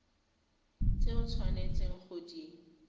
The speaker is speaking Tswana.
tse o tshwanetseng go di